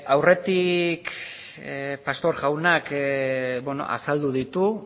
aurretik pastor jaunak azaldu ditu